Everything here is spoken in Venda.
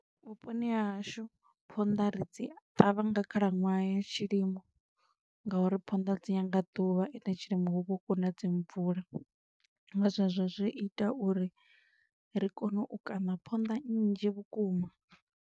Vhuponi ha hashu, phonḓa ri dzi ṱavha nga khalaṅwaha ya tshilimo nga uri phonḓa dzi nyaga ḓuvha ende tshilimo hu vha hu khou uṋa dzi mvula, nga zwezwo zwi ita uri ri kone u kaṋa phonḓa nnzhi vhukuma.